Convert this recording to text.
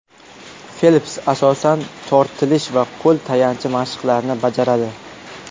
Felps asosan tortilish va qo‘l tayanchi mashqlarini bajaradi.